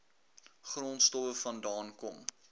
grondstowwe vandaan kom